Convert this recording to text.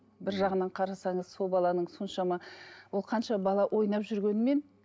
бір жағынан қарасаңыз сол баланың соншама ол қанша бала ойнап жүргенімен